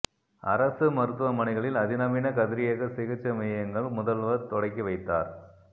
அரசு மருத்துவமனைகளில் அதிநவீன கதிரியக்க சிகிச்சை மையங்கள் முதல்வா் தொடக்கி வைத்தாா்